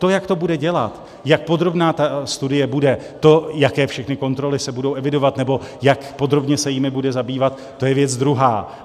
To, jak to bude dělat, jak podrobná ta studie bude, to, jaké všechny kontroly se budou evidovat nebo jak podrobně se jimi bude zabývat, to je věc druhá.